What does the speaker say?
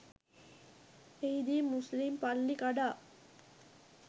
එහිදී මුස්ලිම් පල්ලි කඩා